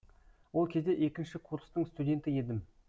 ол кезде екінші курстың студенті едім